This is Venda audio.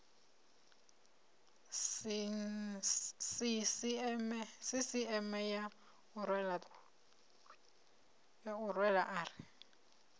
sisieme ya u rwela ari